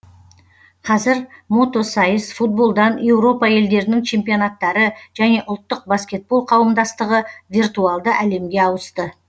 қазір мотосайыс футболдан еуропа елдерінің чемпионаттары және ұлттық баскетбол қауымдастығы виртуалды әлемге ауысты